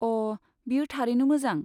अ, बेयो थारैनो मोजां।